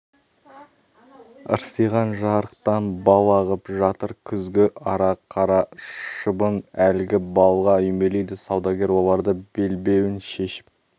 ырсиған жарықтан бал ағып жатыр күзгі ара қара шыбын әлгі балға үймелейді саудагер оларды белбеуін шешіп